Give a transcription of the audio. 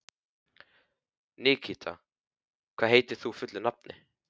Nikíta, hvað heitir þú fullu nafni?